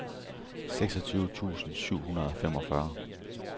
seksogtyve tusind syv hundrede og femogfyrre